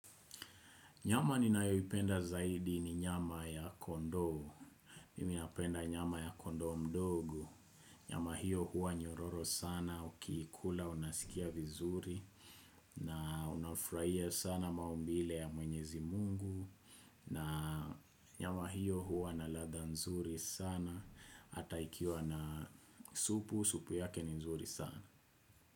Nyama ninayoipenda zaidi ni nyama ya kondoo. Mimi napenda nyama ya kondoo mdogo. Nyama hiyo huwa nyororo sana ukiikula unasikia vizuri. Na unafurahia sana maumbile ya mwenyezi mungu. Na nyama hiyo huwa na ladha nzuri sana hata ikiwa na supu supu yake ni nzuri sana.